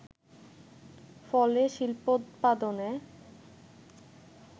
ফলে শিল্পোৎপাদনে